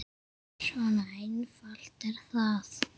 Svona einfalt er það.